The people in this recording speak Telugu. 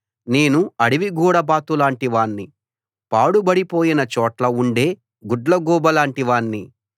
నేను అడవి గూడబాతులాంటి వాణ్ణి పాడుబడిపోయిన చోట్ల ఉండే గుడ్లగూబలాంటి వాణ్ణి